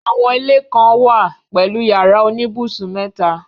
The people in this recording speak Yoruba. Àwọn ilé kan án wà pẹ̀lú yàrá oníbùsùn mẹ́ta.